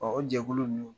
o jɛkulu ninnu